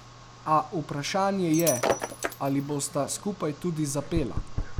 A vprašanje je, ali bosta skupaj tudi zapela?